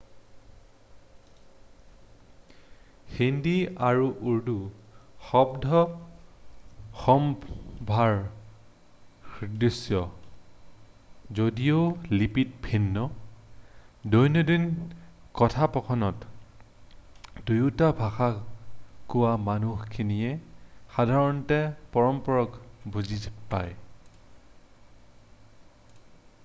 হিন্দী আৰু উৰ্দু শব্দ-সম্ভাৰ স্দৃশ যদিও লিপিত ভিন্ন দৈনন্দিন কথোপকথনত দুয়োটা ভাষা কোৱা মানুহখিনিয়ে সাধাৰণতে পৰস্পৰক বুজি পায়